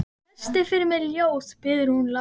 Lestu fyrir mig ljóð, biður hún lágt.